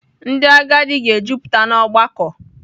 Ndị agadi ga-ejupụta n’ọgbakọ.